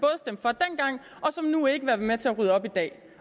nu ikke vil være med til at rydde op i dag